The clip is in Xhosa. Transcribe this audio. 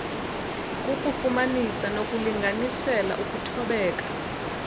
kukufumanisa nokulinganisela ukuthobeka